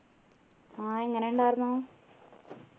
ആഹ് എങ്ങനെ ഉണ്ടാർന്നു